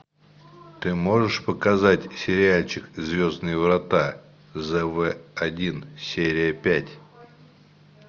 ты можешь показать сериальчик звездные врата зэ вэ один серия пять